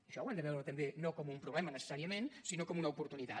això ho hem de veure també no com un problema necessàriament sinó com una oportunitat